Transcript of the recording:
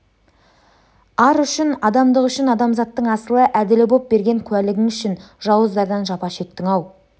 ар үшін адамдық үшін адамзаттың асылы әділі боп берген куәлігің үшін жауыздардан жапа шектің-ау